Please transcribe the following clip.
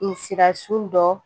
Nsirasun dɔ